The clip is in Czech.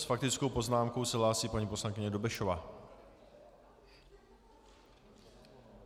S faktickou poznámkou se hlásí paní poslankyně Dobešová.